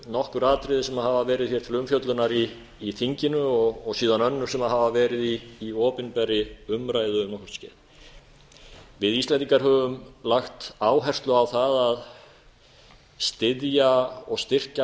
nokkur atriði sem hafa verið hér til umfjöllunar í þinginu og síðan önnur sem hafa verið í opinberri umræðu um nokkurt skeið við íslendingar höfum lagt áherslu á það að styðja og styrkja